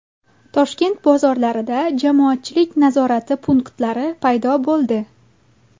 Toshkent bozorlarida jamoatchilik nazorati punktlari paydo bo‘ldi.